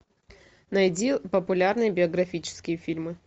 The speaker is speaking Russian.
найди популярные биографические фильмы